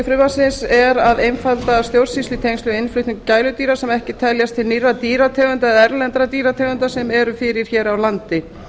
frumvarpsins er að einfalda stjórnsýslu í tengslum við innflutning gæludýra sem ekki teljast til nýrra dýrategunda eða erlendra dýrategunda sem eru fyrir hér á landi